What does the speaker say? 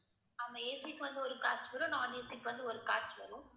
ஆமா AC க்கு வந்து ஒரு cost வரும் non AC க்கு வந்து ஒரு cost வரும்